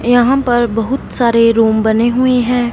यहां पर बहुत सारे रूम बने हुए हैं।